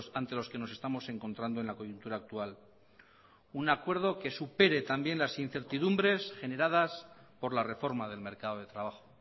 ante los que nos estamos encontrando en la coyuntura actual un acuerdo que supere también las incertidumbres generadas por la reforma del mercado de trabajo